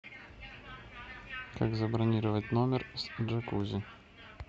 как забронировать номер с джакузи